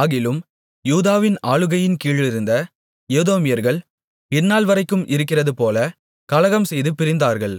ஆகிலும் யூதாவின் ஆளுகையின்கீழிருந்த ஏதோமியர்கள் இந்நாள்வரைக்கும் இருக்கிறதுபோல கலகம் செய்து பிரிந்தார்கள்